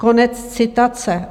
Konec citace.